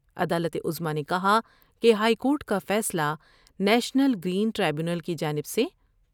عدالت عظمی نے کہا کہ ہائیکورٹ کا فیصلہ نیشنل گرین ٹریبیونل کی جانب سے